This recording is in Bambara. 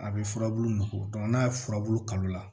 A bɛ furabulu nɔgɔ n'a ye furabulu kalo la